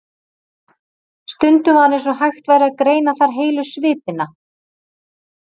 Stundum var eins og hægt væri að greina þar heilu svipina.